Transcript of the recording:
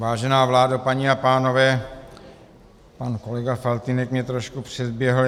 Vážená vládo, paní a pánové, pan kolega Faltýnek mě trošku předběhl.